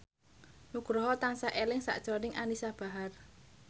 Nugroho tansah eling sakjroning Anisa Bahar